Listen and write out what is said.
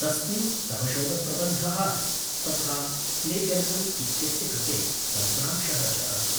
तस्मिन् तव शोधप्रबन्धः, तथा प्लेज्यरिसम् इत्यस्य कृते तन्त्रांशः च अस्ति।